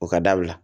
O ka dabila